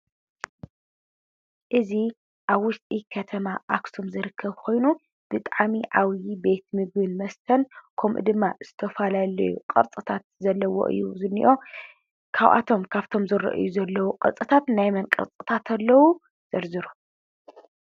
እዚ ኣብ ውሽጢ ከተማ ኣክሱም ዝርከብ ኮይኑ ብጣዕሚ ዓብዪ ቤት ምግብን መስተን ከምኡ ድማ ቅርፅታት ዘለዉዎ እዩ ዝኒአ። ካብቶም ዝረኣዩ ዘለዉ ቅርፅታት ናይ መን ቅርፅታት ኣለዉ ዘርዝሩ ?